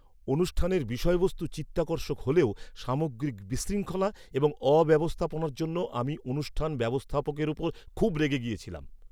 অনুষ্ঠানের বিষয়বস্তু চিত্তাকর্ষক হলেও সামগ্রিক বিশৃঙ্খলা এবং অব্যবস্থাপনার জন্য আমি অনুষ্ঠান ব্যবস্থাপকের উপর খুব রেগে গিয়েছিলাম।